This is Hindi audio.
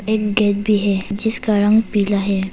एक गेट भी है जिसका रंग पीला है।